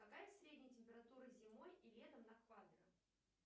какая средняя температура зимой и летом на квадро